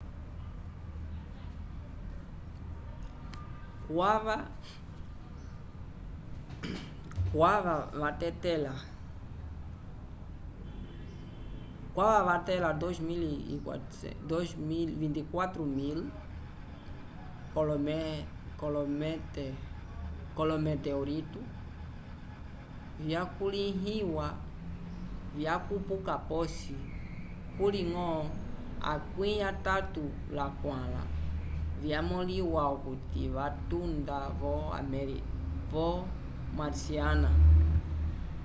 kwava vatẽla 24.000 k'olometeorito vyakulĩhiwa vyakupuka posi kuliñgo 34 vyamõliwa okuti vatunda vo marciana